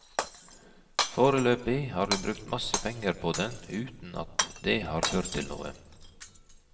Foreløpig har vi brukt masse penger på den uten at det har ført til noe.